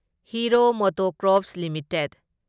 hero MotoCorp limited